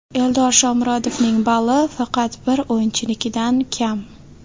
Eldor Shomurodovning balli faqat bir o‘yinchinikidan kam.